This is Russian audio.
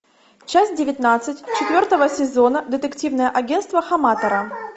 часть девятнадцать четвертого сезона детективное агентство хаматора